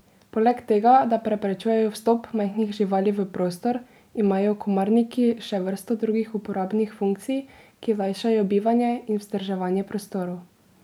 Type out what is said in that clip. Poleg tega, da preprečujejo vstop majhnih živali v prostor, imajo komarniki še vrsto drugih uporabnih funkcij, ki lajšajo bivanje in vzdrževanje prostorov.